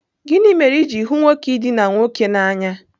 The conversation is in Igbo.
Gịnị mere i ji hụ nwoke idina nwoke n'anya?